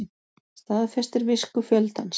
Staðfestir visku fjöldans